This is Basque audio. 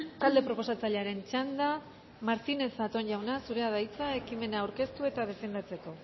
talde proposatzailearen txanda martínez zatón jauna zurea da hitza ekimena aurkeztu eta defendatzeko